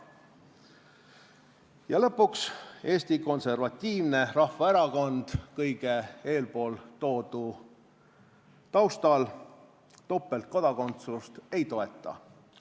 Ja lõpuks, Eesti Konservatiivne Rahvaerakond kõige eeltoodu taustal topeltkodakondsust ei toeta.